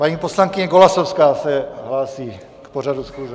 Paní poslankyně Golasowská se hlásí k pořadu schůze.